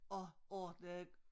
Og ordnede